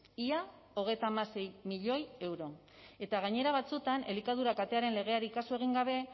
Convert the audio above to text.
ia hogeita hamasei milioi euro eta gainera batzuetan elikadura katearen legeari kasu egin gabe